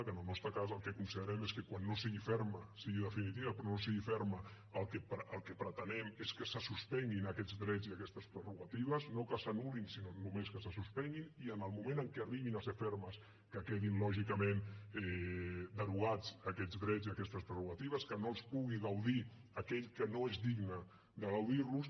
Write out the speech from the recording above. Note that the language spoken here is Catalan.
que en el nostre cas el que considerem és que quan no sigui ferma sigui definitiva però no sigui ferma el que pretenem és que se suspenguin aquests drets i aquestes prerrogatives no que s’anul·lin sinó només que se suspenguin i en el moment en què arribin a ser fermes que quedin lògicament derogats aquests drets i aquestes prerrogatives que no en pugui gaudir aquell que no és digne de gaudir ne